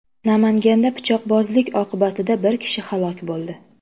Namanganda pichoqbozlik oqibatida bir kishi halok bo‘ldi .